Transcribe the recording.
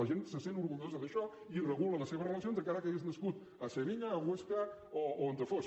la gent se sent orgullosa d’això i hi regula les seves relacions encara que hagi nascut a sevilla a osca o on fos